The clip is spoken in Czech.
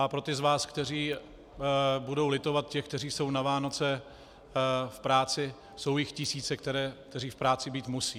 A pro ty z vás, kteří budou litovat těch, kteří jsou na Vánoce v práci - jsou jich tisíce, kteří v práci být musí.